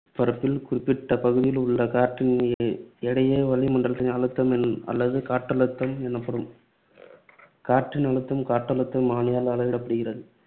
பரப்பில் குறிப்பிட்ட பகுதியிலுள்ள காற்றின் எடையே வளிமண்டல அழுத்தம் என~ அல்லது காற்றழுத்தம் எனப்படும். காற்றின் அழுத்தம் காற்றழுத்த மானியால் அளவிடப்படுகிறது.